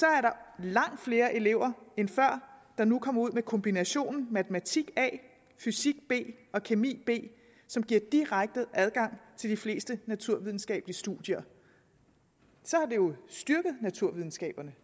er der langt flere elever end før der nu kommer ud med kombinationen matematik a fysik b og kemi b som giver direkte adgang til de fleste naturvidenskabelige studier så har det jo styrket naturvidenskaberne